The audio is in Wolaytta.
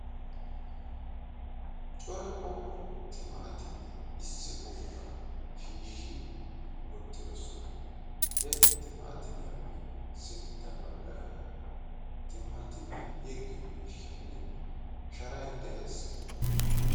cora qommo timaatimmiya issi boottaa shiishi wottidosona.he timaatimiyaappe sintta bagaara timaatimiya yeggiyo miishshaynne sharay de'ees.